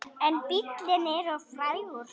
En bíllinn er of frægur.